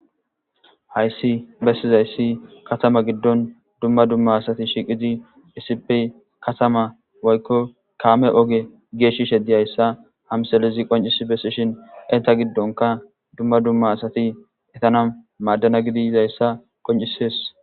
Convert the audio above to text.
hayssi bessizayssi katama giddon dumma dumma asati shiiqizi isipi katama woykko kaame oge geeshishe dizyayssa hamsalizi qoncisi bessishin inta giddonka dumma dumma asati etana maaddana gidi yizayssa qoncisees